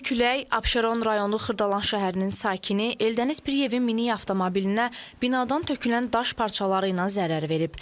Güclü külək Abşeron rayonu Xırdalan şəhərinin sakini Eldəniz Piriyevin minik avtomobilinə binadan tökülən daş parçaları ilə zərər verib.